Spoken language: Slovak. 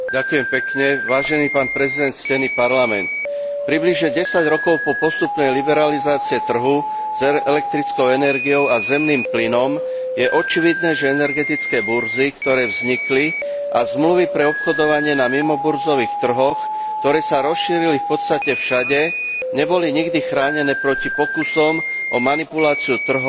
Približne 10 rokov po postupnej liberalizácii trhu s elektrickou energiou a zemným plynom je očividné, že energetické burzy, ktoré vznikli, a zmluvy pre obchodovanie na mimoburzových trhoch, ktoré sa rozšírili v podstate všade, neboli nikdy chránené proti pokusom o manipuláciu trhov a obchodovanie s využitím dôverných informácií.